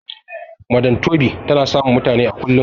madam tobi tana samun mutani kullum